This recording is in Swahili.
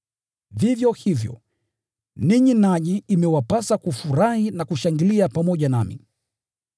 Vivyo hivyo, ninyi nanyi imewapasa kufurahi na kushangilia pamoja nami.